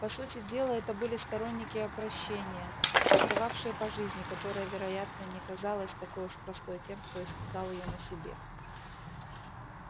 по сути дела это были сторонники опрощения тосковавшие по жизни которая вероятно не казалась такой уж простой тем кто испытал её на себе